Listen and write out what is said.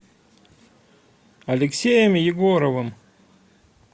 алексеем егоровым